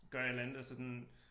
Gør et eller andet og sådan